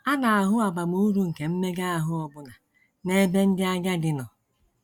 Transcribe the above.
A na - ahụ abamuru nke mmega ahụ ọbụna n’ebe ndị agadi nọ.